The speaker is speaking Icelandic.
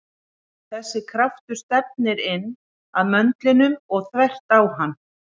Þessi kraftur stefnir inn að möndlinum og þvert á hann.